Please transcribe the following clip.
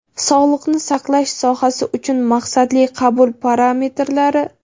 Sog‘liqni saqlash sohasi uchun maqsadli qabul parametrlari.